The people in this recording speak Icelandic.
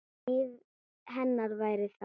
Líf hennar væri þar.